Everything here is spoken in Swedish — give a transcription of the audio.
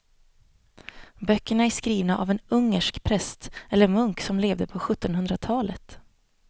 Böckerna är skrivna av en ungersk präst eller munk som levde på sjuttonhundratalet.